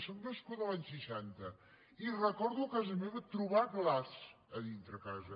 sóc nascuda l’any seixanta i recordo a casa meva trobar glaç a dintre a casa